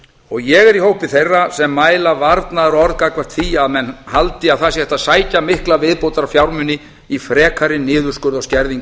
og ég er í hópi þeirra sem mæla varnaðarorð gagnvart því að menn haldi að það sé hægt að sækja mikla viðbótarfjármuni í frekari niðurskurð og skerðingu